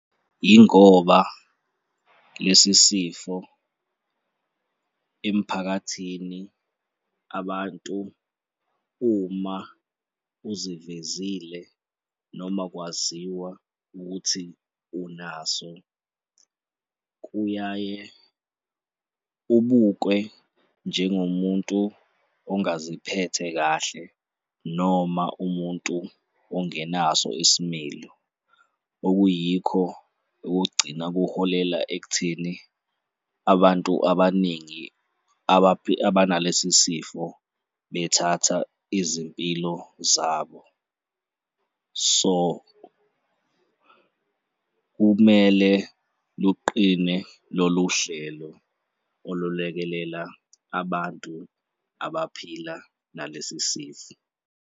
Yingoba lesi sifo emphakathini abantu uma uzivezile noma kwaziwa ukuthi unaso, kuyaye ubukwe njengomuntu ongaziphethe kahle noma umuntu ongenaso isimilo, okuyikho kugcina kuholela ekutheni abantu abaningi abantu abaningi abanalesi sifo bethatha izimpilo zabo. So, kumele luqine lolu hlelo olulekelela abantu abaphila nalesi sifo.